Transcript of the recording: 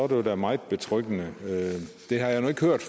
det jo da meget betryggende det har jeg nu ikke hørt